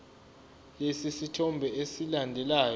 lesi sithombe esilandelayo